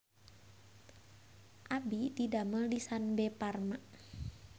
Abdi didamel di Sanbe Farma